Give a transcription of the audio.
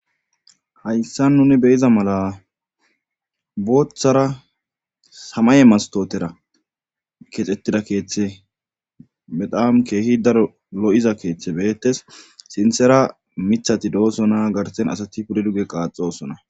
Hayssa nuni beyiza mala booththara samaye mastotera keexxettida keeththe bedam keehi daro lo7iza keeththe beyettes sinthera mithati doosona garsen asati pude dugge qaaxosona